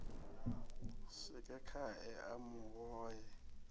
swike khae a mu hohe